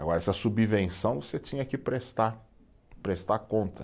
Agora, essa subvenção você tinha que prestar, prestar conta.